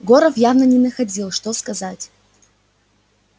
горов явно не находил что сказать